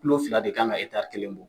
kilo fila de kan ka kelen bɔ